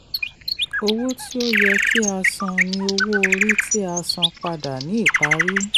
owó tí ó yẹ kí a san ni owó orí tí a san padà ní ìparí.